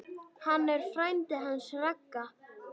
Hann er frændi hans Ragga.